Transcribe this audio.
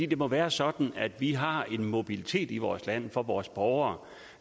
det må være sådan at vi har en mobilitet i vores land for vores borgere